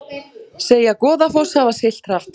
Segja Goðafoss hafa siglt hratt